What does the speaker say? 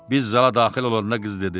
Biz zala daxil olanda qız dedi: